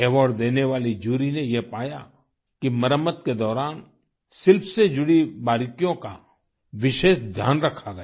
award देने वाली jury ने ये पाया कि मरम्मत के दौरान शिल्प से जुड़ी बारीकियों का विशेष ध्यान रखा गया